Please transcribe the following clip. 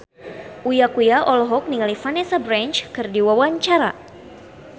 Uya Kuya olohok ningali Vanessa Branch keur diwawancara